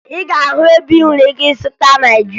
Ị ga-ahụ ebe ị nwere ike ịzụta Naịjirịa